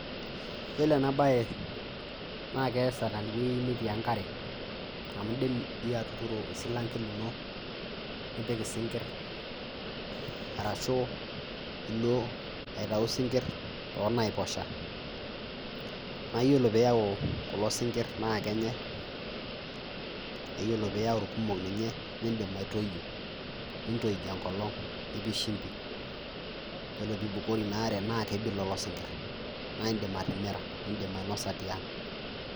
Yiolo ena bae naa keesa teweji netii enkare , amu idim iyie atuturo osilanke lino nipik isinkir ,orashu ilo aitayu sinkir toonaiposha naiyiolo pee iyau kulo sinkir naa kenyae ,iyiolo pee iyau irkumok ninye nidim atoyio nintoij enkolong ,nipik shimbi ore pee eibukori inaare naa kebik Lilo sinkir naa idim atimira nidim ainosa tiang.